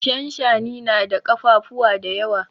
Shanshani na da kafafuwa da yawa.